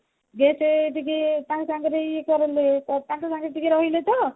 ଯେହେତୁ ଟିକେ ତାଙ୍କ ସାଙ୍ଗରେ ଇଏ କାକଙ୍କ ସାଙ୍ଗରେ ଟିକେ ରହିଲେ ତ